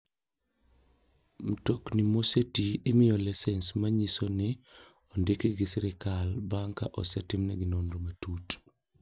Mtokno mosetii imiyo lisens manyiso ni ondigi gi sirkal bang' ka osetimnegi nonro matut.